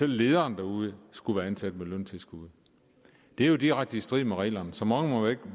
lederen derude skulle være ansat med løntilskud det er jo direkte i strid med reglerne så mange med